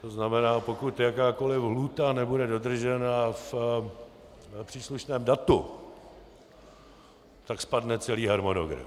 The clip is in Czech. To znamená, pokud jakákoliv lhůta nebude dodržena v příslušném datu, tak spadne celý harmonogram.